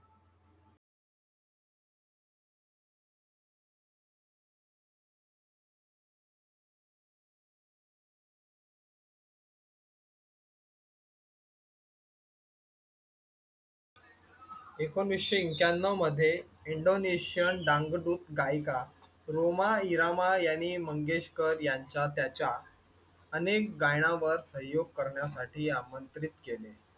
ऐकोनिसशे ऐक्यान्न्यव मध्ये इंडोनेशियन डांग डुप गायिका रूमा इरामा यांनी मंगेशकर यांच्या त्याच्या अनेक गायनावर सहयोग करण्यासाठी आमंत्रित केले.